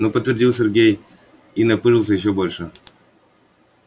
ну подтвердил сергей и напыжился ещё больше